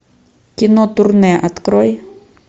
кино турне открой